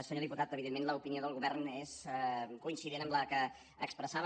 senyor diputat evidentment l’opinió del govern és coincident amb la que expressava